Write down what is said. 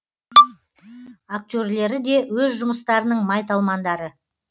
актерлері де өз жұмыстарының майталмандары